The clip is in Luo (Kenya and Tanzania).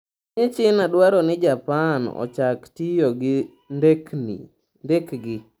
Piny China dwaro ni Japan ochak tiyo gi ndekegi